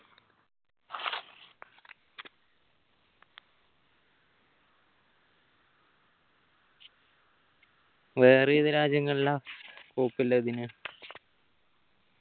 വേറെ ഏത് രാജ്യങ്ങളിലാ scope ഉള്ളത് ഇതിന്